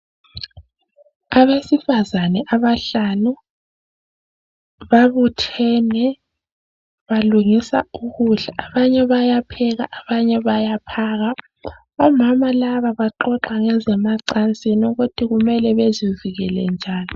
Abesifazane abahlanu babuthene balungisa ukudla abanye bayapheka abanye bayaphaka omama laba baxoxa ngezemacansini ukuthi kumele bezivikele njani